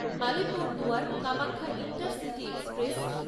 Alipurduar Kamakhya intercity express